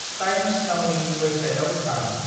Times नावनि वेबसाइटाव थां।